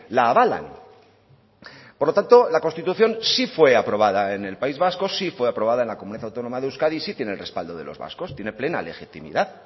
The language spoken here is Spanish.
la avalan por lo tanto la constitución sí fue aprobada en el país vasco sí fue aprobada en la comunidad autónoma de euskadi sí tiene el respaldo de los vascos tiene plena legitimidad